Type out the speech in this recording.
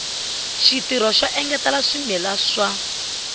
xitirho xo engetela swimila swa